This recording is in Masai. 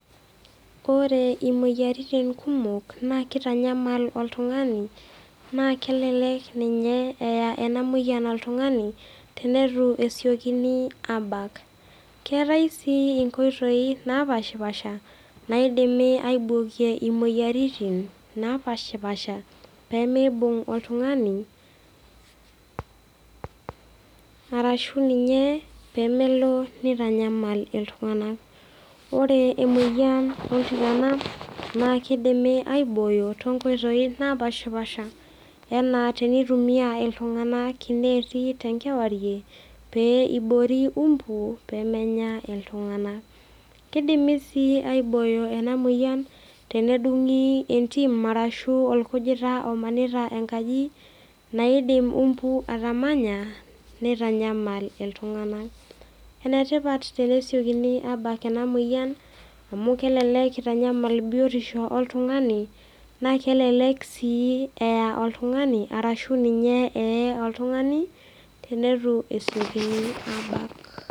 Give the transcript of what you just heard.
Ore imoyiaritin kumok na kitanyamal oltungani na kelek eya enamoyian oltungani tenitu esiekini abak keetae sii nkoitoi napashipasha naidimi aibokie imoyiaritin napashipasha pemeibung oltungani arashu niny pemelo nitanyamal ltunganak ore emoyian oltikana na kidimi aibooyo to nkoitoi napashipasha anaa tenitumia ltunganak neeti tenkewarie pe iboori umbu pemenya ltunganak kidimi si aibooyo enamoyian tenedungi entim ashu orkujita omanita enkaji naidim umbu atamanya nitanyamal ltunganak, enetipat teneseiekini abak enamoyian amu kelelek itanyamal biotisho oltungani na kelek si eya oltungani ashu ninye ee oltungani tenitu esekini abak